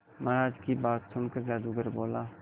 महाराज की बात सुनकर जादूगर बोला